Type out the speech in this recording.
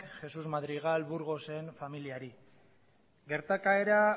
jesús madrigal burgosen familiari gertakaera